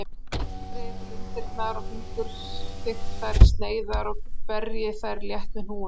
Skerið lundirnar í fingurþykkar sneiðar og berjið þær létt með hnúunum.